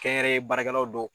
Kɛnyɛrɛye baarakɛlaw do